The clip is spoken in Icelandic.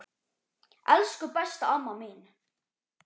Elsku besta amma mín.